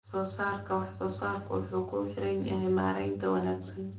Wax-soo-saarka wax-soo-saarku wuxuu ku xiran yahay maaraynta wanaagsan.